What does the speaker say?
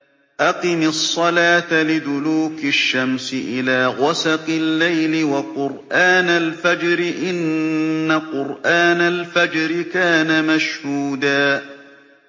أَقِمِ الصَّلَاةَ لِدُلُوكِ الشَّمْسِ إِلَىٰ غَسَقِ اللَّيْلِ وَقُرْآنَ الْفَجْرِ ۖ إِنَّ قُرْآنَ الْفَجْرِ كَانَ مَشْهُودًا